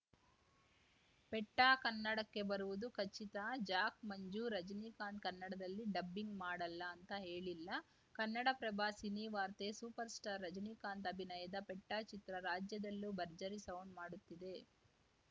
ಪೆಟ್ಟಾಕನ್ನಡಕ್ಕೆ ಬರುವುದು ಖಚಿತ ಜಾಕ್‌ ಮಂಜು ರಜನಿಕಾಂತ್‌ ಕನ್ನಡದಲ್ಲಿ ಡಬ್ಬಿಂಗ್‌ ಮಾಡಲ್ಲ ಅಂತ ಹೇಳಿಲ್ಲ ಕನ್ನಡಪ್ರಭ ಸಿನಿವಾರ್ತೆ ಸೂಪರ್‌ಸ್ಟಾರ್ ರಜನಿಕಾಂತ್‌ ಅಭಿನಯದ ಪೆಟ್ಟಾ ಚಿತ್ರ ರಾಜ್ಯದಲ್ಲೂ ಭರ್ಜರಿ ಸೌಂಡ್‌ ಮಾಡುತ್ತಿದೆ